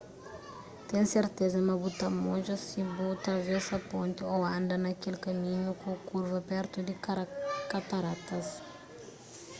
ten serteza ma bu ta modja si bu travesa ponti ô anda na kel kaminhu ku kurva pertu di kataratas